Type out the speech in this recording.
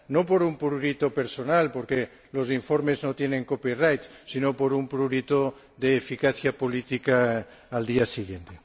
no por un prurito personal, porque los informes no tienen copyright sino por un prurito de eficacia política al día siguiente.